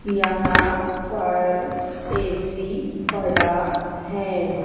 यहां पर ए_सी पड़ा हैं।